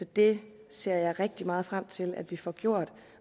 det ser jeg rigtig meget frem til at vi får gjort